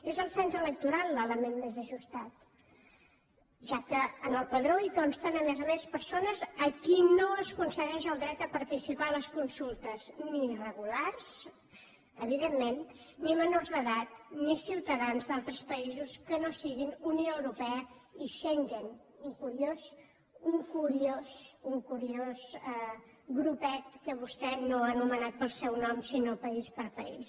és el cens electoral l’element més ajustat ja que en el padró hi consten a més a més persones a qui no es concedeix el dret a participar a les consultes ni irregulars evidentment ni menors d’edat ni ciutadans d’altres països que no siguin unió europea i schengen un curiós un curiós grupet que vostè no ha anomenat pel seu nom sinó país per país